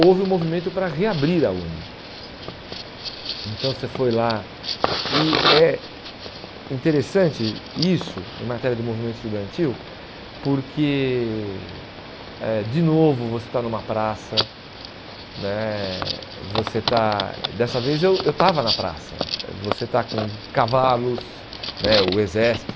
houve um movimento para reabrir a Uni, então você foi lá e é interessante isso em matéria do movimento estudantil porque eh de novo você está numa praça né, você estar dessa vez eu eu estava na praça, você está com cavalos né, o exército,